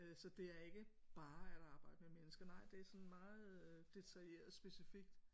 Øh så det er ikke bare at arbejde med mennesker nej det er sådan meget øh detaljeret specifikt